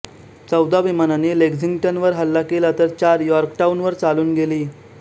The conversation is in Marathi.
चौदा विमानांनी लेक्झिंग्टनवर हल्ला केला तर चार यॉर्कटाउन वर चालून गेली